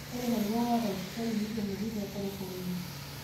Ore larikok oora wafisadi neikenori te korokoroni